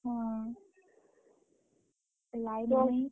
ହୁଁ, line ନାହିଁ ।